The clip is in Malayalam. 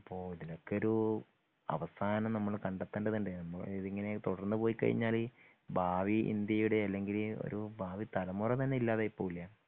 അപ്പൊ ഇതിനൊക്കെയൊരു അവസാനം നമ്മൾ കണ്ടേത്തെണ്ടതുണ്ട് ഇങ്ങെനെ തടർന്നു പോയ് കഴിഞ്ഞാൽ ഭാവി ഇന്ത്യയുടെ അല്ലങ്കില് ഒരു ഭാവി തലമുറതന്നെ ഇല്ലാതായി പോവുലെ.